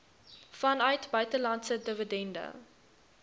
vanuit buitelandse dividende